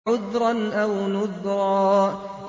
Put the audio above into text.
عُذْرًا أَوْ نُذْرًا